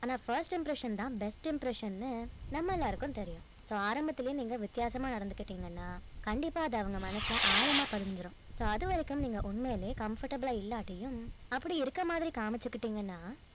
ஆனா first impression தான் best impression ன்னு நம்ம எல்லாருக்கும் தெரியும் so ஆரம்பத்திலேயே வித்தியாசமா நடந்துக்கிட்டீங்கனா கண்டிப்பா அது அவங்க மனசுல ஆழமா பதிஞ்சிடும் so அதுவரைக்கும் நீங்க உண்மையிலே comfortable ஆ இல்லாட்டியும் அப்படி இருக்கிற மாதிரி நீங்க காமிச்சிட்டீங்கன்னா